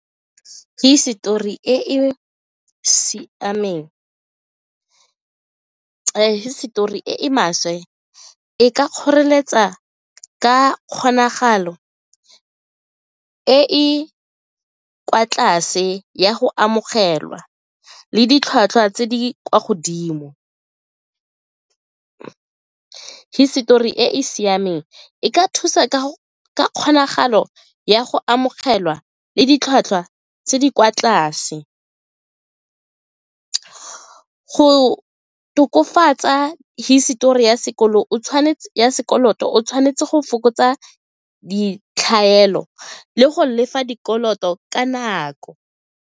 Hisetori e e siameng hisetori e maswe e ka kgoreletsa ka kgonagalo e e kwa tlase ya go amogelwa le ditlhwatlhwa tse di kwa godimo. Hisetori e e siameng e ka thusa ka kgonagalo ya go amogelwa le ditlhwatlhwa tse di kwa tlase go tokafatsa hisetori ya sekoloto o tshwanetse go fokotsa ditlhaelo le go lefa dikoloto ka nako.